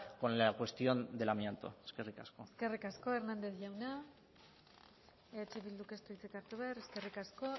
con la cuestión del amianto eskerrik asko eskerrik asko hernández jauna eh bilduk ez du hitzik hartu behar eskerrik asko